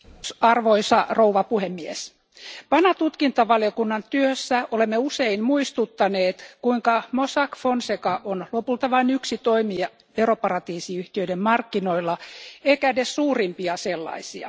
Arvoisa puhemies, PANA tutkintavaliokunnan työssä olemme usein muistuttaneet, kuinka Mossack Fonseca on lopulta vain yksi toimija veroparatiisiyhtiöiden markkinoilla eikä edes suurimpia sellaisia.